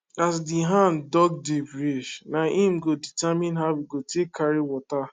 as de hand dug deep reach nah im go determine how e go take carry water